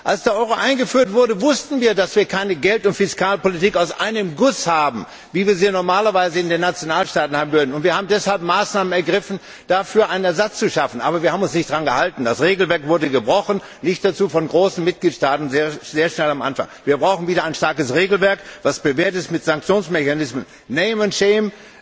Als der Euro eingeführt wurde, wussten wir, dass wir keine Geld und Fiskalpolitik aus einem Guss haben, wie wir sie normalerweise in den Nationalstaaten hätten. Wir haben deshalb Maßnahmen ergriffen, umdafür einen Ersatz zu schaffen, aber wir haben uns nicht daran gehalten, das Regelwerk wurde gebrochen, auch von großen Mitgliedstaaten, sehr schnell und schon am Anfang. Wir brauchen wieder ein starkes Regelwerk mit Sanktionsmechanismen Name and shame,